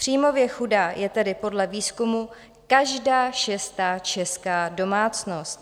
Příjmově chudá je tedy podle výzkumu každá šestá česká domácnost.